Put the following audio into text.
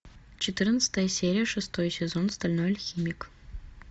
четырнадцатая серия шестой сезон стальной алхимик